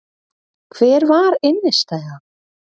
Hver var innistæðan?